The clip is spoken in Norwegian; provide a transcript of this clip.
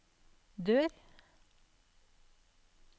dør